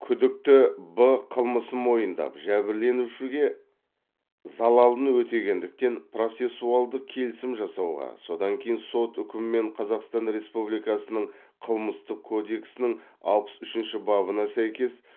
күдікті б қылмысын мойындап жәбірленушіге залалын өтегендіктен процессуалдық келісім жасауға содан кейін сот үкімімен қазақстан республикасының қылмыстық кодексінің алпыс үшінші бабына сәйкес